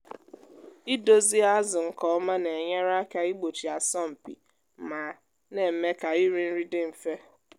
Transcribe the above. idozie azụ nke ọma na-enyere aka igbochi asọmpi ma na-eme ka iri nri dị mfe.